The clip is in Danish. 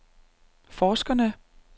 forskerne